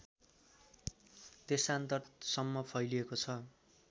देशान्तरसम्म फैलिएको छ